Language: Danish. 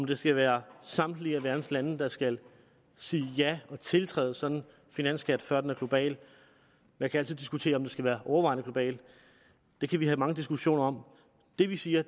det skal være samtlige verdens lande der skal sige ja og tiltræde sådan en finansskat før den er global man kan altid diskutere om den skal være overvejende global det kan vi have mange diskussioner om det vi siger